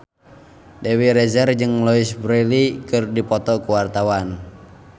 Dewi Rezer jeung Louise Brealey keur dipoto ku wartawan